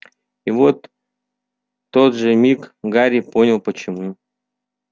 и вот тот же миг гарри понял почему